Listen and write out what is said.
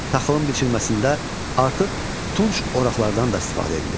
Taxılın biçilməsində artıq tunc oraqlarından da istifadə edilirdi.